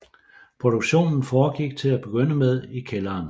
Produktionen foregik til at begynde med i kælderen